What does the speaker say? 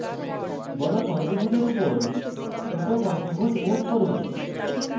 বড় পঞ্চভূজের উপর ছোট পঞ্চভুজ move করুন